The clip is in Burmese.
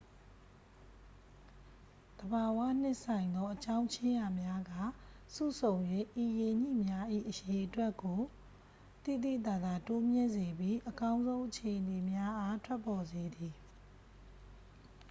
သဘာဝနှင့်ဆိုင်သော အကြောင်းခြင်းရာများက စုဆုံ၍ ဤရေညှိများ၏ အရေအတွက်ကို သိသိသာသာ တိုးမြင့်စေပြီး အကောင်းဆုံးအခြေအနေများအား ထွက်ပေါ်စေသည်